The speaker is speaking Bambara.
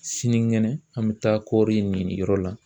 Sinikɛnɛ an mɛ taa kɔɔri ni nin yɔrɔ la.